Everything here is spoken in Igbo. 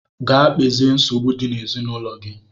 Gaa kpezie nsogbu dị n'ezinaụlọ gị!